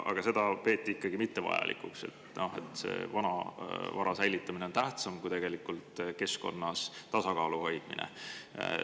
Aga seda peeti ikkagi mittevajalikuks, et vanavara säilitamine on tähtsam kui tegelikult keskkonnas tasakaalu hoidmine.